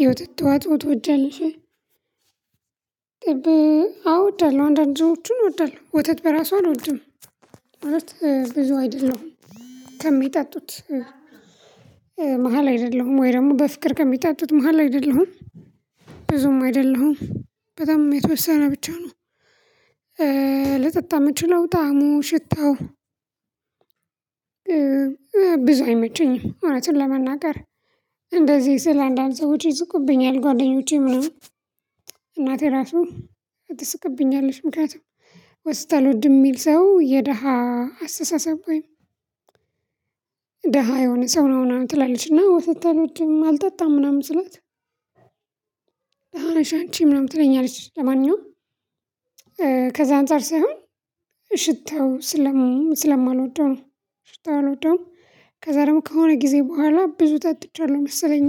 የወተት ተዎጽኦ ቶወጃለሽ ወይ አዎ እፈዳለሁ አንዳንድ ሰዎችን እወዳለሁ ወተት በራሱ አልወድም ማለት ብዙ አይደለሁም ከሚጠጡት መሃል አይደለሁም ወይ ደግሞ በፍቅር ከሚጣጡት መሃል አይደለሁም ብዙም አይደለሁም በጣም የተወሰነ ብቻ ነው ልጠጣ የምችለው ጣዕሙ ሽታው ብዙ አይመቸኝም እውነቱን ለመናገር እንደዚህ ስላንዳንድ ሰዎች ይስቁብኛል ጓደኞቼ ምናምን እናቴ ራሱን ትስቅብኛለች ምክንያቱም ወተት አልወድም የሚል ሰው የድሃ አስተሳሰብ ወይም የሆነ ሰው ነው ምናምን ትላለች እና ወተት አልወድም አልጠጣም ምናምን ስላት ደሃ ነሽ አንቺ ምናምን ትለኛለች። ለማንኛውም ከዛ አንፃር ሳይሆን ሽታው ስለማልወደው ነው ሽታው አልወደውም። ከዛ ደግሞ ከሆነ ጊዜ በኋላ ብዙ ጠጥቻለሁ መሰለኝ።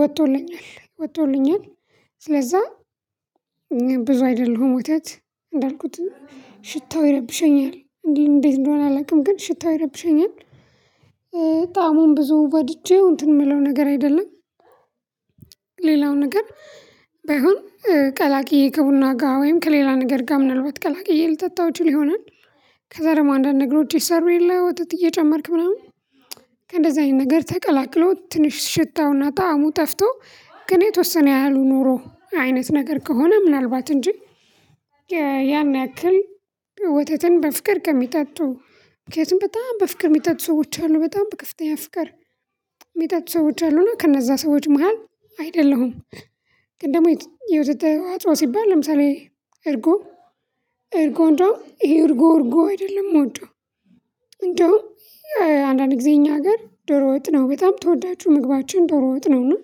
ወጥቶልኛል ወጥቶልኛል ስለዛ ብዙ አይደለሁ። ወታት እንዳልኩት ሽታው ይረብሸኛል እንዴት እንደሆነ አላውቅም። ግን ሽታው ይረብሸኛል። ጣሙን ብዙ ወድጄ እንትን የምለው ነገር አይደለም። ሌላው ነገር ባይሆን ቀላቅዬ ከቡና ጋር ወይም ከሌላ ነገር ጋር ምናልባት ቀላቅዬ ልጠጣው ይችል ይሆናል። ከዛ ደግሞ አንዳንድ ነገሮች ይሰሩ የለ ወተት እየጨመርክ ምናምን ከእንደዚህ አይነት ነገር ተቀላቅሎ ትንሽ ሽታውና ጣዕሙ ጠፍቶ ግን የተወሰነ ያህሉ ኖሮ አይነት ነገር ከሆነ ምናልባት እንጂ ያን ያክል ወተትን በፍቅር ከሚጠጡ ምክንያቱም በጣም በፍቅር የሚጠጡ ሰዎች አሉ። በጣም በከፍተኛ ፍቅር የሚጠጥ ሰዎች አሉ። እና ከነዛ ሰዎች መሃል አይደለሁም። ግን ደግሞ የተ የወተት ተዋጽኦ ሲባል ለምሳሌ እርጎ እርጎ እንደው ይሄ እርጎ እርጎ አይደለም የምወደው። እንደውም አንዳንድ ጊዜ እኛ ሀገር ዶሮ ወጥ ነው በጣም ተወዳጁ ምግባችን ዶሮ ወጥ ነው። እና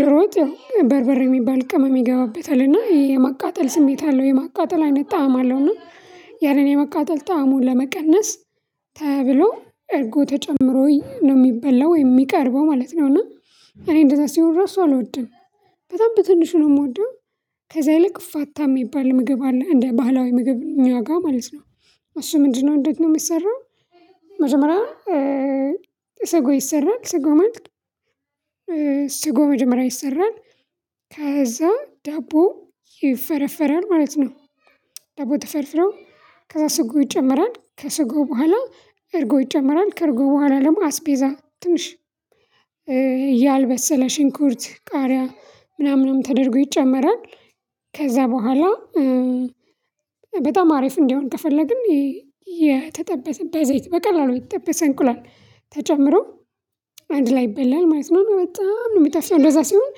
ዶሮ ወጥ ያው በርበር የሚባል ቅመም ይገባበታል። እና የማቃጠል ስሜት አለው። የማቃጠል አይነት ጣዕም አለው። እና ያንን የመቃጠል ጣዕሙን ለመቀነስ ተብሎ እርጎ ተጨምሮ ነው የሚበላው ወይ የሚቀርበው። ማለት ነው። እና እኔ እንደዛ ሲሆን ራሱ አልወድንም። በጣም በትንሹ ነው የምወደው። ከዛ ይልቅ ፋታ የሚባል ምግብ አለ። እንደ ባህላዊ ምግብ እኛ ጋር ማለት ነው። እሱ ምንድነው? እንዴት ነው የሚሰራው መጀመሪያ ሰጎ ይሰራል። ሰጎ ማለት ሰጎ መጀመሪያ ይሰራል። ከዛ ዳቦ ይፈረፈራል። ማለት ነው። ደቦ ተፈርፍረው ከዛ ስጎ ይጨምራል። ከስጎ በኋላ እርጎ ይጨምራል። ከእርጎ በኋላ ደግሞ አስቤዛ ትንሽ እያልበሰለ ሽንኩርት፣ ቃሪያ፣ ምናምን ተደርጎ ይጨመራል። ከዛ በኋላ በጣም አሪፍ እንዲሆን ከፈለግን የተጠበሰ ዳይ ዘይት በቀላሉ የተጠበሰ እንቁላል ተጨምሮ አንድ ላይ ይበላል። ማለት ነው እና በጣም ነው የሚጣፍው። እንደዛ ሲሆን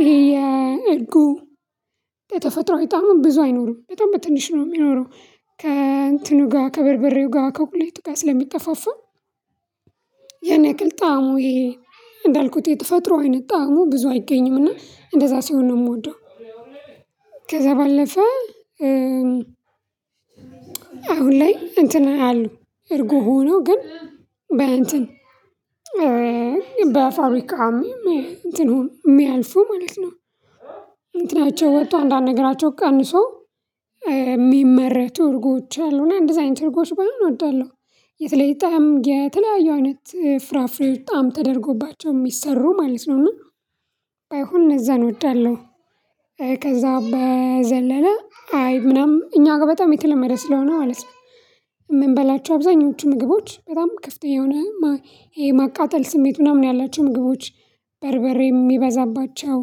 ይሄ የእርጉ የተፈጥሮ ጣሙ ብዙ አይኖርም በጣም በትንሽ ነው የሚኖረው ከእንትኑ ጋር ከበርበሬው ጋር ከሁቁሌት ጋር ስለሚጠፋፋ ያን ያክል ጣዕሙ ይሄ እንዳልኩት የተፈጥሮ አይነት ጣዕሙ ብዙ አይገኝም እና እንደዛ ሲሆን ነው የምወደው። ከዛ ባለፈ አሁን ላይ እንትን አሉ። እርጉ ሆኖ ግን በእንትን በፋብሪካም እንትን እንደሚያልፉ ማለት ነው። እንትናቸው ወጥቶ አንዳድ ነገራቸው ቀንሶ የሚመረቱ እርጎች አሉና እንደዚህ አይነት እርጎች ባይሆን እወዳለሁ። የተለየ ጣዕም የተለያዩ አይነት ፍራፍሬ ጣዕም ተደርጎባቸው የሚሰሩ ማለት ነው እና ባይሆን እነዛን እወዳለሁ። ከዛ በዘለለ አይብ ምናምን እኛ ጋር በጣም የተለመደ ስለሆነ ማለት ነው። በላችሁ አብዛኞቹ ምግቦች በጣም ክፍተኛ የሆነ ይሄ የማቃጠል ስሜት ምናምን ያላቸው ምግቦች በርበሬ የሚበዛባቸው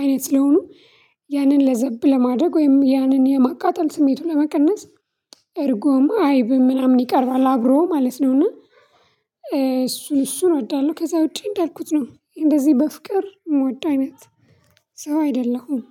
አይነት ስለሆኑ ያንን ለዘብ ለማደግ ወይም ያንን የማቃጠል ስሜቱን ለመቀነስ እርጎም አይብም ምናምን ይቀርባል። አብሮ ማለት ነው እና እሱን እሱን እወዳለሁ። ከዛ ውጪ እንዳልኩት ነው። እንደዚህ በፍቅር የምወደው አይነት ሰው አይደለሁም።